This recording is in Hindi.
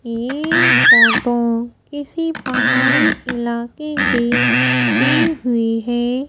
ये फोटो किसी पहाड़ी इलाके की दी हुई है।